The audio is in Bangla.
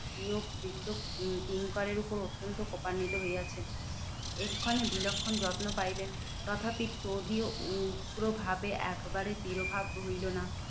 ইয়োগ বৃদ্ধ কিঙ্করের উপর অত্যন্ত কোপান্নিত হইয়াছেন। এক্ষণে বিলক্ষণ যত্ন পাইলেন। তথাপি ত্বদীয় উগ্র ভাবে একবারে তিরোভাব হইলো না।